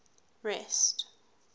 rest